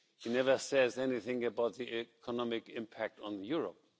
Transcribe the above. He never says anything about the economic impact on Europe.